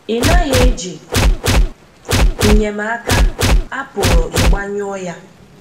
Ị̀ naghị eji Nnyemaka, a pụrụ ịgbanyụọ ya.